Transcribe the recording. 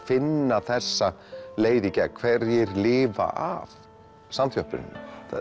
finna þessa leið í gegn hverjir lifa af samþjöppunina